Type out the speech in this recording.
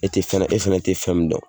E tɛ fana e tɛ fɛn min dɔn.